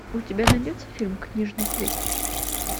у тебя найдется фильм книжный клуб